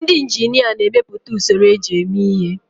Ndị injinia na-emepụta usoro eji eme ihe.